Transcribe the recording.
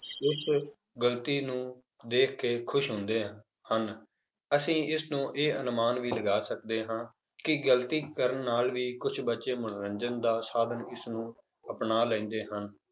ਉਸ ਗ਼ਲਤੀ ਨੂੰ ਦੇਖ ਕੇ ਖ਼ੁਸ਼ ਹੁੰਦੇ ਆ ਹਨ, ਅਸੀਂ ਇਸਨੂੰ ਇਹ ਅਨੁਮਾਨ ਵੀ ਲਗਾ ਸਕਦੇ ਹਾਂ ਕਿ ਗ਼ਲਤੀ ਕਰਨ ਨਾਲ ਵੀ ਕੁਛ ਬੱਚੇ ਮਨੋਰੰਜਨ ਦਾ ਸਾਧਨ ਇਸਨੂੰ ਅਪਣਾ ਲੈਂਦੇ ਹਨ